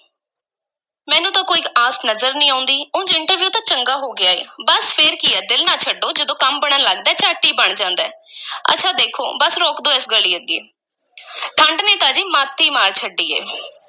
ਮੈਨੂੰ ਤਾਂ ਕੋਈ ਆਸ ਨਜ਼ਰ ਨਹੀਂ ਆਉਂਦੀ, ਉਂਜ interview ਤਾਂ ਚੰਗਾ ਹੋ ਗਿਆ ਹੈ, ਬੱਸ, ਫਿਰ ਕੀ ਹੈ, ਦਿਲ ਨਾ ਛੱਡੋ, ਜਦੋਂ ਕੰਮ ਬਣਨ ਲੱਗਦਾ ਹੈ, ਝੱਟ ਹੀ ਬਣ ਜਾਂਦਾ ਹੈ ਅੱਛਾ ਦੇਖੋ ਬੱਸ ਰੋਕ ਦੇ ਇਸ ਗਲੀ ਅੱਗੇ ਠੰਢ ਨੇ ਤਾਂ ਜੀ ਮੱਤ ਈ ਮਾਰ ਛੱਡੀ ਏ।